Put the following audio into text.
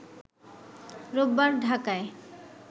রোববার ঢাকায়